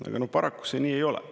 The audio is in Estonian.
Aga paraku see nii ei ole.